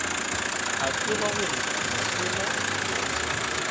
a tseba gore mosela roto